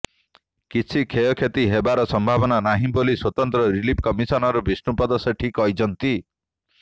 କିଛି କ୍ଷୟକ୍ଷତି ହେବାର ସମ୍ଭାବନା ନାହିଁ ବୋଲି ସ୍ୱତନ୍ତ୍ର ରିଲିଫ୍ କମିଶନର ବିଷ୍ଣୁପଦ ସେଠୀ କହିଛନ୍ତି